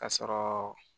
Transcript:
Ka sɔrɔ